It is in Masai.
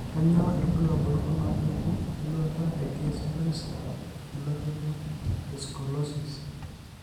Kainyio irbulabul onaapuku eluata egaze palsy elototo escoliosis?